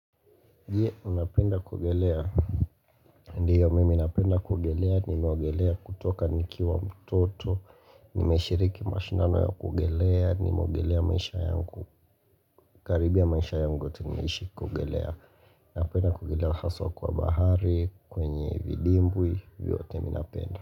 Je, unapenda kuogelea, ndio mimi napenda kuogelea nimeogelea kutoka nikiwa mtoto Nimeshiriki mashindano ya kuogelea nimeogelea maisha yangu Karibia maisha yangu yote nimeishi kuogelea Napenda kuogelea haswa kwa bahari kwenye vidimbwi vyote mi napenda.